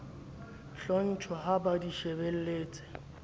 hlotjhwa ha ba di shebelletse